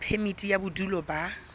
ya phemiti ya bodulo ba